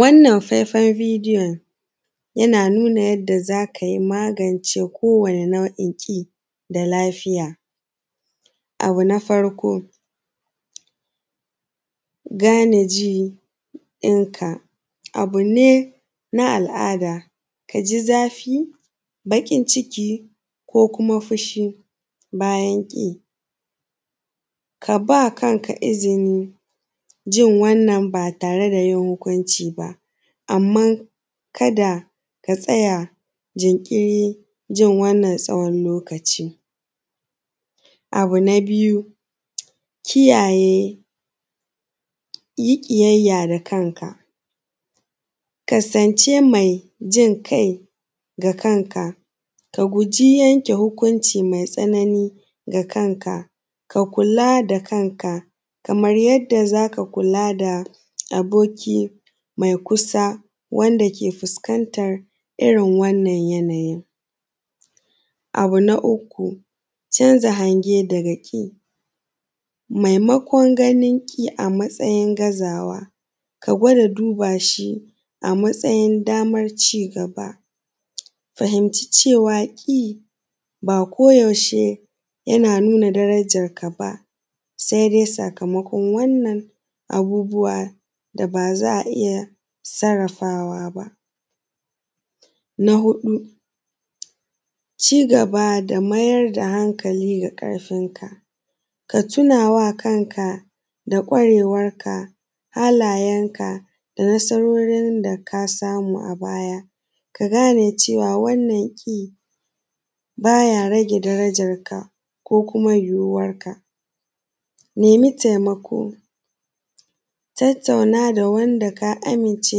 Wannan fefan bidiyon yana nuna yadda za ka magance kowani nau’in kiɗa, lafiya abu na farko gane jininka, abu ne na al’ada ka ji zafi baƙin ciki ko kuma fushi, bayan ƙi ka ba kanka izinin jin wannan ba tare da hukunci ba anman ka da ka tsaya jinkiri, jin wannan tsawan lokaci. Abu na biyu, kiyaye yi ƙiyayya ga kanka kasance me jin kai ga kanka, ka guji yanke hukunci me tsanani ga kanka, ka kula da kanka kaman yanda za ka kula da aboki me kusa wanda ke fuskantan irin wannan yanayi, abu na uku canza hange da kake maimakon ganin ƙi a matsayin gazawa, ka gwada duba shi a matsayin daman ci gaba, fahimci cewa ƙi ba koyaushe yana nuna darajanka ba sai dai sakamakon wannan abubuwa da ba za a iya sarrafawa ba. Na huɗu ci gaba da maida hankali ga ƙarfinka, ka tunawa kanka da kwarewanka, halayenka da nasarorin da ka samu a baya, ka gane cewa wanna ƙi ba ya rage darajanka ko kuma girmanka, nema taimako, tattauna da wanda ka amince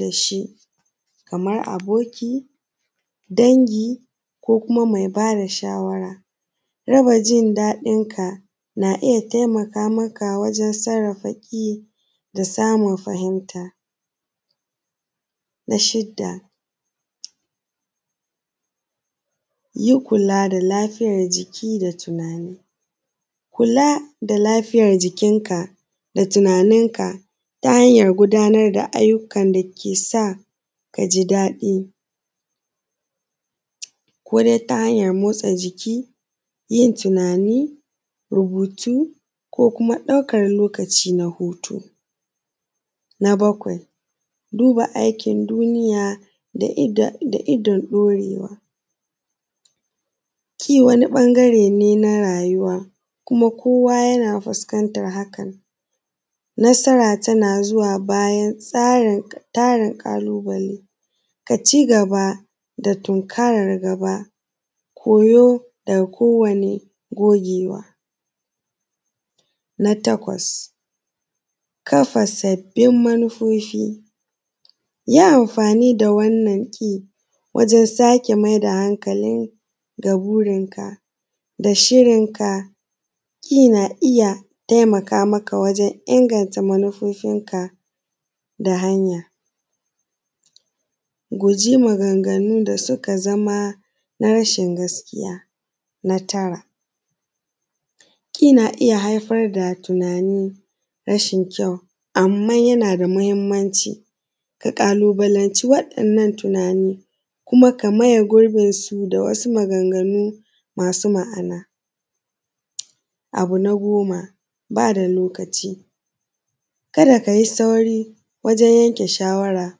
da shi kaman aboki, dangi ko kuma mai ba da shawara, rage jin daɗinka na iya taimaka maka wajen saarrafa ƙi da samun fahimta, na shida yi kula da lafiyan jiki da tunani, kula da lafiyan jikinka da tunaninka ta hayan gudanar da ayyukan da ke sa ka ji daɗi kodai ta hanyan motsa jiki, yin tunani, rubutu ko kuma ɗaukan lokaci, na bakwai duba aikin duniya daidan murewa ke wani ɓangare ne na rayuwa kuma kowa yana fuskantan haka, nasara tana zuwa bayan tarin tsarin ƙalubale, ka ci gaba da tinkaran koyo da kowane gogewa. Na takwas kafa sabbin manifofi, yi anfani da wannan ƙi wajen sake maida hankali da burinka da shirinka, yana iya taimaka maka don inganta manifufinka ta hanya guji maganganu da suka zama na rashin gaskiya, na tara ƙi na iya haifar da tunani, rashin kyau anman yana da mahinmanci ka ƙalubalance wa’yannan matsalolin kuma ka maye gurbinsu da wasu maganganu masu ma’ana, abu na goma ba da lokaci, ka da ka yi sauri wajen yanke shawara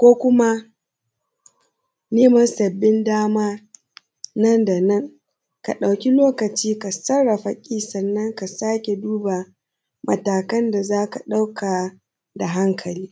ko kuma yi ma sabbin da ma nan da nan, ka da ka ɗauki lokaci kafin ka sarrafa ƙi, sannan ka sake duba matakan da za ka ɗauka da hankali.